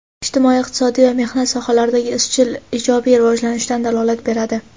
ijtimoiy-iqtisodiy va mehnat sohalaridagi izchil ijobiy rivojlanishdan dalolat beradi.